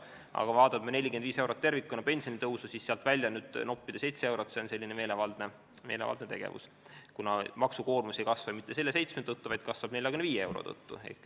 Aga kui vaadata 45-eurost pensionitõusu ja noppida sealt välja 7 eurot, siis see on meelevaldne tegevus, kuna maksukoormus ei kasva mitte selle 7 tõttu, vaid kasvab 45 euro tõttu.